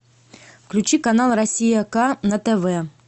включи канал россия к на тв